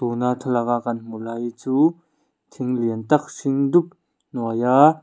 tuna thlalak a kan hmuh lai hi chu thil lian tak hring dup hnuaia--